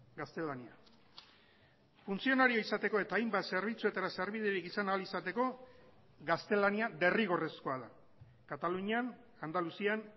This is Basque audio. gaztelania funtzionario izateko eta hainbat zerbitzuetara sarbiderik izan ahal izateko gaztelania derrigorrezkoa da katalunian andaluzian